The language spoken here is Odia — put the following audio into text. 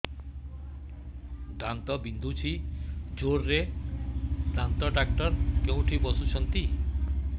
ଦାନ୍ତ ବିନ୍ଧୁଛି ଜୋରରେ ଦାନ୍ତ ଡକ୍ଟର କୋଉଠି ବସୁଛନ୍ତି